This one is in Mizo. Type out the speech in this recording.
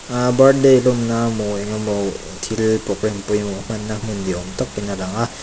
ahh birthday lawmna maw engemaw thil program pawimawh hmanna hmun ni awm takin a lang a.